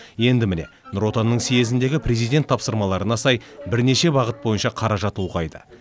енді міне нұр отанның съезіндегі президент тапсырмаларына сай бірнеше бағыт бойынша қаражат ұлғайды